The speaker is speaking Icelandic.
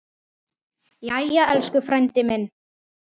Jæja, elsku frændi minn.